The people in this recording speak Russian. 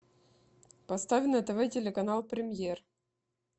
поставь на тв телеканал премьер